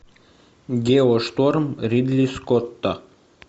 геошторм ридли скотта